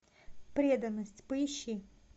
преданность поищи